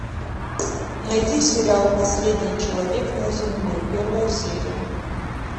найди сериал последний человек на земле первая серия